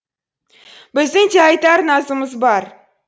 біздің де айтар назымыз бар